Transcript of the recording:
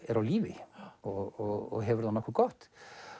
er á lífi og hefur það nokkuð gott